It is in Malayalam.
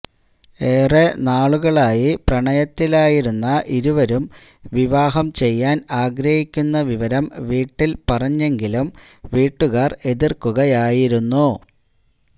ഏറെ നാളുകളായി പ്രണയത്തിലായിരുന്ന ഇരുവരും വിവാഹം ചെയ്യാൻ ആഗ്രഹിക്കുന്ന വിവരം വീട്ടിൽ പറഞ്ഞെങ്കിലും വീട്ടുകാർ എതിർക്കുകയായിരുന്നു